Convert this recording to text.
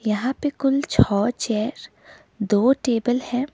यहां पे कुल छह चेयर दो टेबल है।